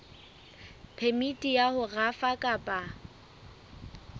phemiti ya ho rafa kapa